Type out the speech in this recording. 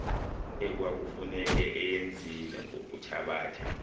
ekwakufuneka eyenzile ngokuthabatha